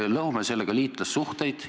Me lõhume sellega liitlassuhteid.